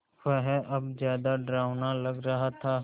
वह अब ज़्यादा डरावना लग रहा था